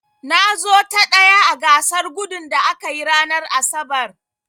Na zo ta ɗaya a gasar gudun da aka yi ranar asabar.